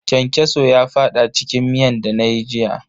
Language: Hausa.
Kyankyaso ya fada cikin miyan dana yi jiya.